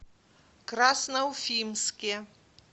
красноуфимске